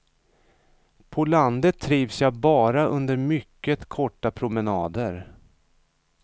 På landet trivs jag bara under mycket korta promenader.